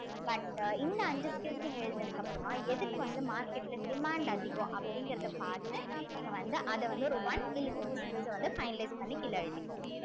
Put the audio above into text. but இந்த அஞ்சு skills நீங்க எழுதுனதுக்கு அப்புறமா எதுக்கு வந்து market ல demand அதிகம் அப்படிங்கிறதை பார்த்து நீங்க வந்து அத வந்து ஒரு one இல்ல two skills அ வந்து finalize பண்ணி கீழே எழுதிக்கோங்க